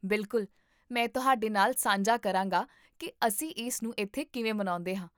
ਬਿਲਕੁਲ, ਮੈਂ ਤੁਹਾਡੇ ਨਾਲ ਸਾਂਝਾ ਕਰਾਂਗਾ ਕਿ ਅਸੀਂ ਇਸਨੂੰ ਇੱਥੇ ਕਿਵੇਂ ਮਨਾਉਂਦੇ ਹਾਂ